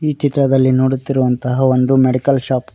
ಈ ಚಿತ್ರದಲ್ಲಿ ನೋಡುತ್ತಿರುವಂತಹ ಒಂದು ಮೆಡಿಕಲ್ ಶಾಪ್ .